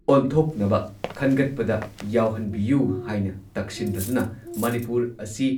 ꯑꯣꯟꯊꯣꯛꯅꯕ ꯈꯟꯒꯠꯄꯗ ꯌꯥꯎꯍꯟꯕꯤꯌꯨ ꯍꯥꯏꯅ ꯇꯛꯁꯤꯟꯂꯗꯨꯅ ꯃꯅꯤꯄꯨꯔ ꯑꯁꯤ